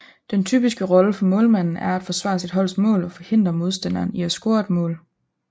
Den typiske rolle for målmanden er at forsvare sit holds mål og forhindre modstanderen i at score et mål